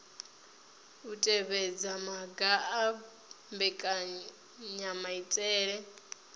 u tevhedza maga a mbekanyamaitele